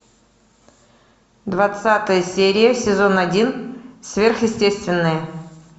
двадцатая серия сезон один сверхъестественное